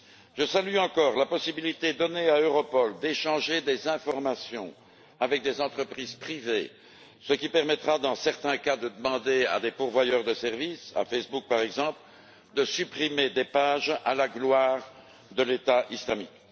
Je salue encore la possibilité donnée à Europol d'échanger des informations avec des entreprises privées, ce qui permettra, dans certains cas, de demander à des fournisseurs de services à Facebook, par exemple de supprimer des pages faisant l'apologie de l'État islamique.